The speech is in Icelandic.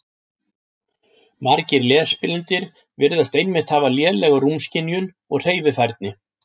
Margir lesblindir virðast einmitt hafa lélega rúmskynjun og hreyfifærni.